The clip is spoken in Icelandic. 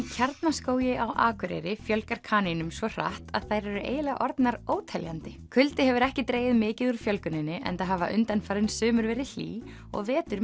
Kjarnaskógi á Akureyri fjölgar kanínum svo hratt að þær eru eiginlega orðnar óteljandi kuldi hefur ekki dregið mikið úr fjölguninni enda hafa undanfarin sumur verið hlý og vetur